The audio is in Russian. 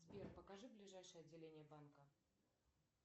сбер покажи ближайшие отделения банка